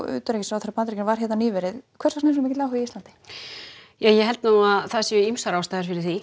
utanríkisráðherra Bandaríkjanna var hér nýverið hvers vegna þessi mikli áhugi á Íslandi ég held það séu ýmsar ástæður fyrir því